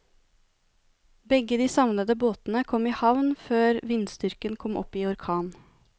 Begge de savnede båtene kom i havn før vindstyrken kom opp i orkan.